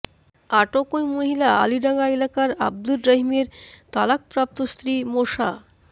আটক ওই মহিলা আলিডাঙা এলাকার আবদুর রহিমের তালাকাপ্রাপ্ত স্ত্রী মোসা